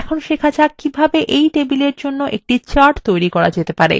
এখন শেখা যাক এই table জন্য কিভাবে একটি chart তৈরী করতে পারি